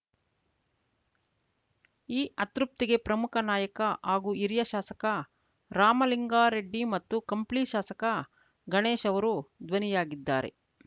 ಈ ಅತೃಪ್ತಿಗೆ ಪ್ರಮುಖ ನಾಯಕ ಹಾಗೂ ಹಿರಿಯ ಶಾಸಕ ರಾಮಲಿಂಗಾರೆಡ್ಡಿ ಮತ್ತು ಕಂಪ್ಲಿ ಶಾಸಕ ಗಣೇಶ್‌ ಅವರು ಧ್ವನಿಯಾಗಿದ್ದಾರೆ